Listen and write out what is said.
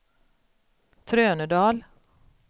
Trönödal